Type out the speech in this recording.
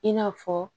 I n'a fɔ